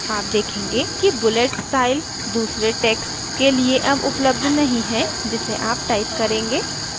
आप देखेंगे कि bullet स्टाइल दूसरे text के लिए अब उपलब्ध नहीं है जिसे आप type करेंगे